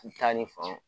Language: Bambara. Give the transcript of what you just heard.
U taa ni fan